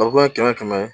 kɛmɛ kɛmɛ